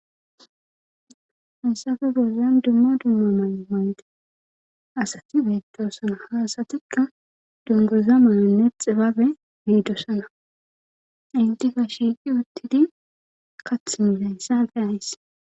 hassafe bolan dumma dumma mayo70 mayde asati beettoosana haasatikka dunguza mayanne xibabe biidosana intifa shiiqi uttidi kath milayssafe ays